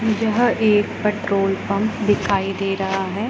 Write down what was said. यह एक petrol pump दिखाई दे रहा हैं।